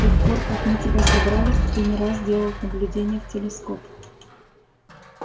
с тех пор как мы тебя собрали ты не раз делал наблюдения в телескоп